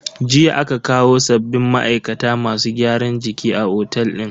Jiya aka kawo sabbin ma'aikata masu gyaran jiki a otel din.